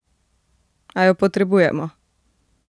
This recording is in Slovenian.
A jo potrebujemo!